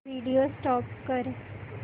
video stop कर